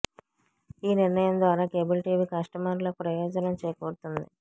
ఈ నిర్ణయం ద్వారా కేబుల్ టీవీ కస్టమర్ లకు ప్రయోజనం చేకూరుతుంది